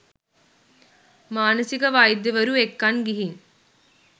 මානසික වෛද්‍යවරු එක්කන් ගිහින්